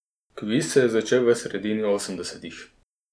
Kviz se je začel v sredini osemdesetih.